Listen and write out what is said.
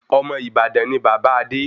Ọmọ Ìbàdàn ni bàbá Adé